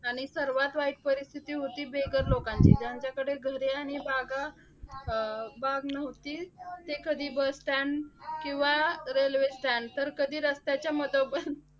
आणि सर्वात वाईट परिस्थिती होती बेघर लोकांची, ज्यांच्याकडे घरे आणि बागा अं बाग नव्हती. ते कधी bus stand किंवा railway stand तर कधी रस्त्याच्या मधोमध